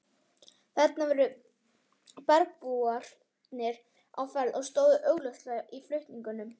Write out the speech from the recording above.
Þarna voru bergbúarnir á ferð og stóðu augljóslega í flutningum.